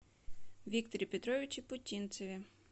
викторе петровиче путинцеве